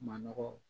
Manɔgɔ